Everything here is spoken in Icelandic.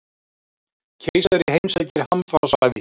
Keisari heimsækir hamfarasvæði